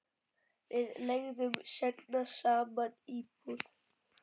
Við leigðum seinna saman íbúð.